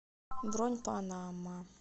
бронь па на ма